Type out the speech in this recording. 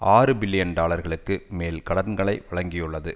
ஆறு பில்லியன் டாலர்களுக்கு மேல் கடன்களை வழங்கியுள்ளது